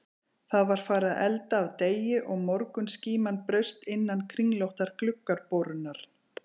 Það var farið að elda af degi og morgunskíman braust innum kringlóttar gluggaborurnar.